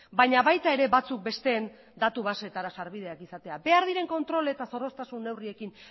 baina baita ere batzuk besteen datu baseetara sarbideak izatea behar diren kontrol eta zorroztasun neurriekin